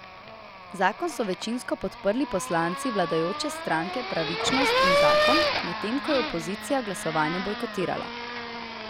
Zakon so večinsko podprli poslanci vladajoče stranke Pravičnost in zakon, medtem ko je opozicija glasovanje bojkotirala.